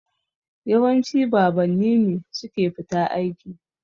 Yawanci babanni ne suke fita aiki.